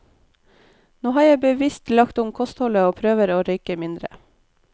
Nå har jeg bevisst lagt om kostholdet og prøver å røyke mindre.